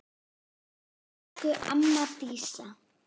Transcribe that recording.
Elsku amma Dísa.